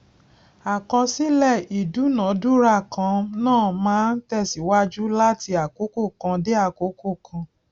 àkọsílẹ ìdúnadúrà kan náà máa ń tẹsíwájú láti àkókò kan dé àkókò kan